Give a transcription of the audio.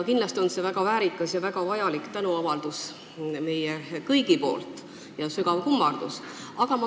Kindlasti on see meie kõigi väga väärikas ja vajalik tänuavaldus ning sügav kummardus.